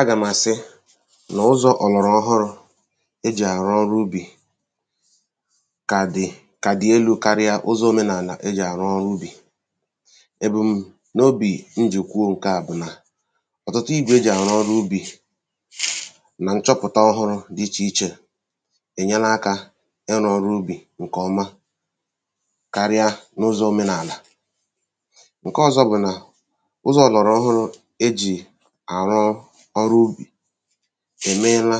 agà m̀ àsị nà ụzọ̄ ọ̀lọ̀rọ̀ọhụrụ̄ e jì àrụ ọrụ ubì kà dị̀ kà dị̀ elū karịa ụzọ̄ omenàlà e jì àrụ ọrụ ubì èbùm̀nobì m jì kwuo ǹké à bụ̀ nà ọtụtụ igwè e jì àrụ ọrụ ubì nà nchọpụ̀ta ọhụrụ̄ dị̄ ichè ichè ènyela akā ịrụ̄ ọrụ ubì ṅ̀kè ọma karịa n’ụzọ̄ omenàlà ṅ̀ke ọ̄zọ̄ bụ̀ nà ụzọ̄ ọ̀lọ̀rọ̀ọhụrụ̄ e jì àrụ ọrụ ubì èmeela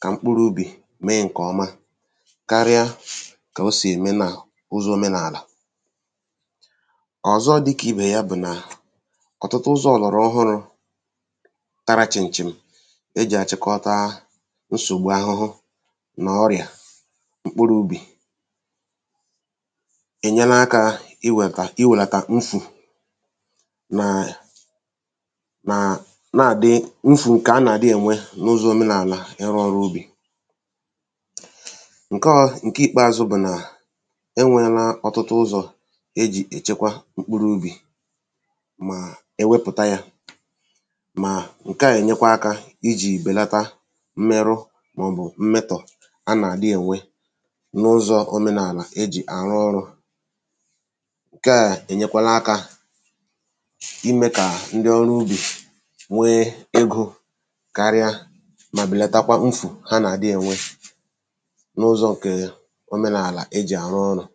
kà mkpụrụ̄ ubì mee ṅkè ọma karịa kà o sì ème n’ụzọ̄ omenàlà ọ̀zọ dị̄ kà ibè ya bụ̀ nà ọ̀tụtụ ụzọ̄ ọ̀lọ̀rọ̀ọhụrụ̄ tara chị̀m̀ chị̀m̀ e jì àchịkọta nsògbu ahụhụ nà ọrịà mkpụrụ̄ ubì ènyela akā iwètà iwèlàtà mfù n’àlà mà na-àdị mfù ṅ̀kè a nà-àdị ènwe n’ụzọ̄ omenàlà ịrụ̄ ọrụ ubì ṅ̀ke ọ ṅ̀ke ìkpeāzụ̄ bụ̀ nà e nweēlā ọ̀tụtụ ụzọ̀ e jì èchekwa mkpụrụ ubì mà e wepụ̀ta yā mà ṅke à nyekwa akā ijì bèlata mmerụ màọ̀bụ̀ mmetọ̀ a nà-àdị ènwe n’ụzọ̄ omenàlà e jì àrụ ọrụ̄ ṅ̀ke à ènyekwala akā imē kà ndị ọrụ ubì nwee egō karịa mà bèlatakwa mfù ha nà-àdị ènwe n’ụzọ̄ ṅ̀ke omenàlà e jì àrụ ọrụ̄